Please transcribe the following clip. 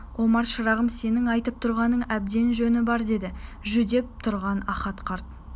омар шырағым сенің айтып тұрғаныңның әбден жөні бар деді жүдеп тұрған ахат қарт